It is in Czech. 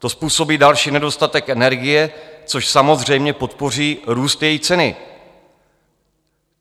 To způsobí další nedostatek energie, což samozřejmě podpoří růst její ceny.